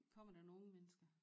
Kommer der nogen mennesker